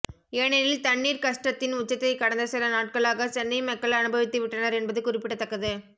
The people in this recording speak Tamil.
ஏனெனில் தண்ணீர் கஷ்டத்தின் உச்சத்தை கடந்த சில நாட்களாக சென்னை மக்கள் அனுபவித்துவிட்டனர் என்பது குறிப்பிடத்தக்கது